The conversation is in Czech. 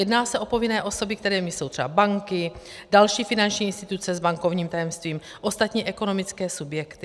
Jedná se o povinné osoby, kterými jsou třeba banky, další finanční instituce s bankovním tajemstvím, ostatní ekonomické subjekty.